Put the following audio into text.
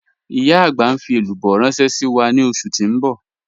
Ìyá agbà n fi èlúbọ̀ ránṣẹ̀ sí wa ni ọṣù tí n bọ̀.